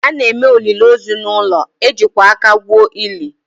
A na-eme olili ozu n’ụlọ, e jikwa aka gwuo ili